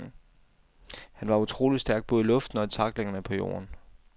Han var utrolig stærk både i luften og i tacklingerne på jorden.